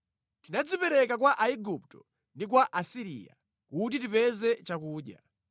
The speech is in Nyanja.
Tinadzipereka kwa Aigupto ndi kwa Asiriya kuti tipeze chakudya.